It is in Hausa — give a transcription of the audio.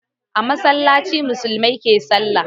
A masallaci musulmai ke sallah.